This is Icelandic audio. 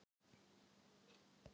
Hún varð við því